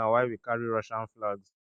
dat na why we carry russian flags